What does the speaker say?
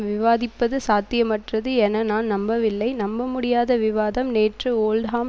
விவாதிப்பது சாத்தியமற்றது என நான் நம்பவில்லை நம்பமுடியாத விவாதம் நேற்று ஓல்ட்ஹாம்